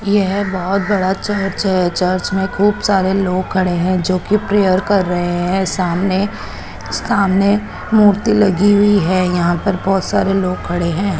येह बहोत बड़ा चर्च है चर्च में खूब सारे लोग खड़े हैं जोकि प्रेयर कर रहे हैं सामने सामने मूर्ति लगी हुई है यहां पे बहोत सारे लोग खड़े हैं।